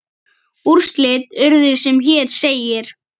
Úrslit urðu sem hér segir